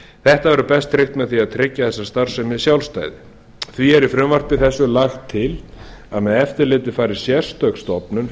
þetta verður bein tryggt með því að tryggja þessa starfsemi sjálfstætt því er í frumvarpi þessu lagt til að með eftirlitið fari sérstök stofnun fjármálaeftirlitið